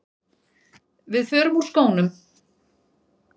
Við förum úr skónum.